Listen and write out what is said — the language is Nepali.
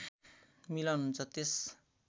मिलन हुन्छ त्यस